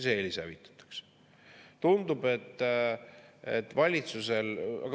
See eelis hävitatakse!